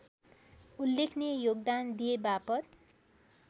उल्लेखनीय योगदान दिएबापत